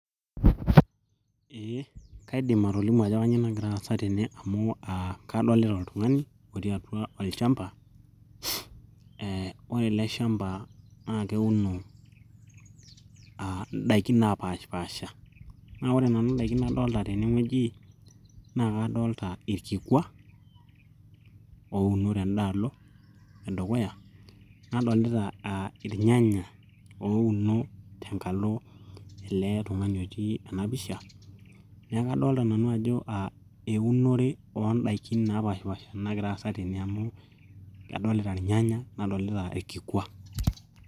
eeh kaidim atolimu ajo kanyio nagira aasa tene amu uh kadolita oltung'ani otii atua olchamba eh ore ele shamba naa keuno uh indaikin napashipasha naa ore nanu indaiki nadolita tenewueji naa kadolta irkikua ouno tendalo edukuya nadolta uh irnyanya ouno tendalo edukuya nadolita uh irnyanya ouno tenkalo ele tung'ani otii ena pisha neeku kadolta nanu ajo eunore ondaikin napashipasha nagira aasa tene amu kadolita irnyanya nadolita irkikua.